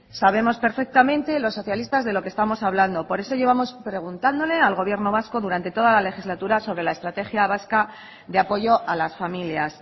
sabemos perfectamente lo socialistas de lo que estamos hablando por eso llevamos preguntándole al gobierno vasco durante toda la legislatura sobre la estrategia vasca de apoyo a las familias